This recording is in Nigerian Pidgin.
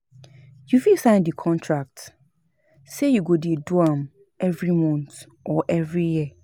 You fit sign di contract say you go de do am every month or every year